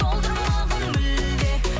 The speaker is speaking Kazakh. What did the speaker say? солдырмағын мүлде